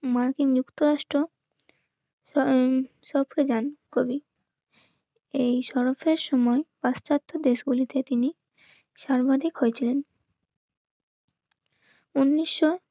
মার্কিন যুক্তরাষ্ট্র শহরে যান কবি. এই শরবতের সময় পাশ্চাত্য দেশগুলিতে তিনি সর্বাধিক হয়ে ছিলেন. উনিশশো